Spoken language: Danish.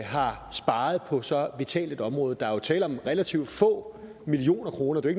har sparet på så vitalt et område der er tale om relativt få millioner kroner det